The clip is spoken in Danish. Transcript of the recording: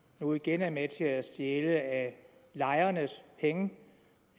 nu igen er med til at stjæle af lejernes penge